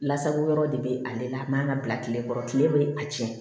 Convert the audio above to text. Lasago yɔrɔ de be ale la man ka bila kile kɔrɔ kile be a tiɲɛ